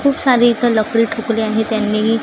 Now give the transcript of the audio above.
खूप सारी इथं लकडी ठोकली आहे त्यांनी--